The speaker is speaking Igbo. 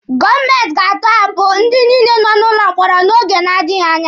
Gọọmenti ga-atọhapụ ndị nọ n'ụlọ mkpọrọ oge na-adịghi anya.